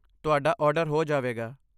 ਤੁਹਾਡਾ ਆਰਡਰ ਹੋ ਜਾਵੇਗਾ।